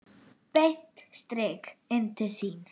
Beint strik inn til sín.